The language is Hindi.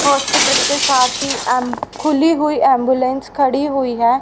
हॉस्पिटल के साथ ही एम खुली हुई एंबुलेंस खड़ी हुई है।